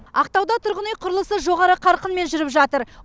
ақтауда тұрғын үй құрылысы жоғары қарқынмен жүріп жатыр